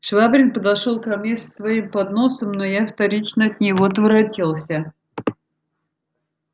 швабрин подошёл ко мне с своим подносом но я вторично от него отворотился